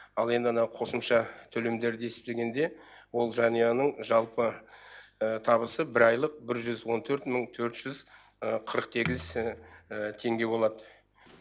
ал енді анау қосымша төлемдерді есептегенде ол жанұяның жалпы табысы бір айлық бір жүз он төрт мың төрт жүз қырық сегіз теңге болады